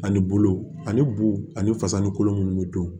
Ani bulu ani bu ani fasa ni kolo minnu bɛ don